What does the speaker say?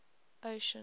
ocean